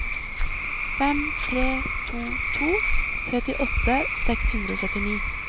fem tre to to trettiåtte seks hundre og syttini